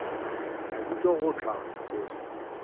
ka bitšwa go tla go